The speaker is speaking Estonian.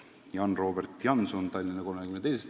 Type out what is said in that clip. Need on Jan Robert Janson Tallinna 32.